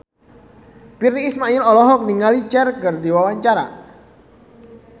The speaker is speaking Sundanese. Virnie Ismail olohok ningali Cher keur diwawancara